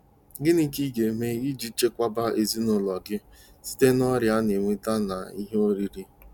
Gịnị ka ị ga-eme iji chekwaba ezinụlọ gị site n'ọrịa ana enweta ná ihe oriri?